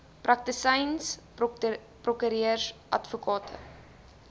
praktisyns prokureurs advokate